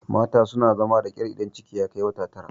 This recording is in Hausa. mata suna zama da ƙyar idan ciki ya Kai wata Tara